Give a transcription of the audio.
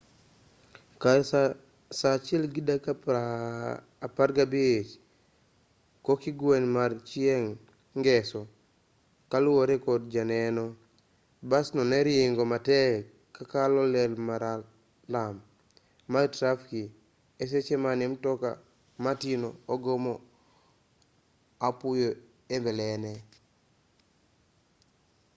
kar saa 1:15 kokgwen mar chieng' ngeso kaluwore kod janeno basno ne ringo matek ka kalo ler maralum mar trafik e seche mane mtoka matinno ogomo apoya e mbelene